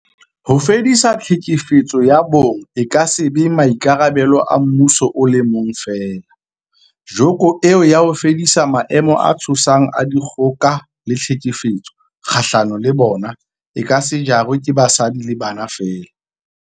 Ho fedisa tlhekefetso ya bong e ka se be maikarabelo a mmuso o le mong feela, joko eo ya ho fedisa maemo a tshosang a dikgoka le tlhekefetso kgahlano le bona, e ka se jarwe ke basadi le bana feela.